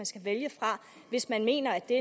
skal vælge fra hvis man mener at det